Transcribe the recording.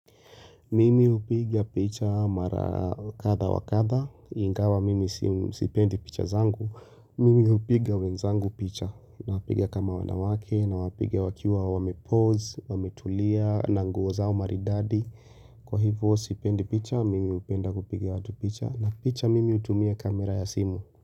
Mimi hupiga picha mara kadha wa kadha, ingawa mimi sipendi picha zangu, mimi hupiga wenzangu picha, nawapiga kama wanawake, nawapiga wakiwa wamepose, wametulia, na nguo zao maridadi, kwa hivyo sipendi picha, mimi hupenda kupiga watu picha, na picha mimi hutumia kamera ya simu.